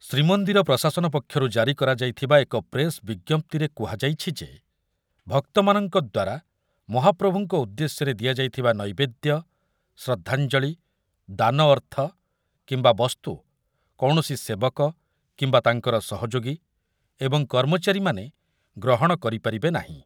ଶ୍ରୀମନ୍ଦିର ପ୍ରଶାସନ ପକ୍ଷରୁ ଜାରି କରାଯାଇଥିବା ଏକ ପ୍ରେସ୍ ବିଜ୍ଞପ୍ତିରେ କୁହାଯାଇଛି ଯେ, ଭକ୍ତମାନଙ୍କ ଦ୍ୱାରା ମହାପ୍ରଭୁଙ୍କ ଉଦ୍ଦେଶ୍ୟରେ ଦିଆଯାଇଥିବା ନୈବେଦ୍ୟ, ଶ୍ରଦ୍ଧାଞ୍ଜଳି, ଦାନ ଅର୍ଥ କିମ୍ବା ବସ୍ତୁ କୌଣସି ସେବକ କିମ୍ବା ତାଙ୍କର ସହଯୋଗୀ ଏବଂ କର୍ମଚାରୀମାନେ ଗ୍ରହଣ କରିପାରିବେ ନାହିଁ।